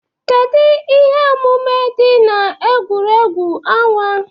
Kedu ihe omume dị na egwuregwu ọnwa?